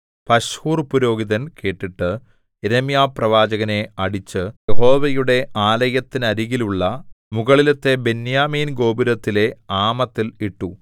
പശ്ഹൂർപുരോഹിതൻ കേട്ടിട്ട് യിരെമ്യാപ്രവാചകനെ അടിച്ച് യഹോവയുടെ ആലയത്തിനരികിലുള്ള മുകളിലത്തെ ബെന്യാമീൻ ഗോപുരത്തിലെ ആമത്തിൽ ഇട്ടു